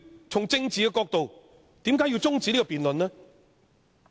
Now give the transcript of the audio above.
從政治的角度，何以要中止這項辯論呢？